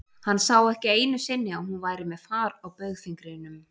Hann sá ekki einu sinni að hún væri með far á baugfingrinum.